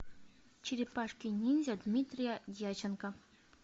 черепашки ниндзя дмитрия дьяченко